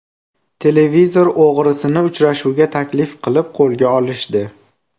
Televizor o‘g‘risini uchrashuvga taklif qilib qo‘lga olishdi .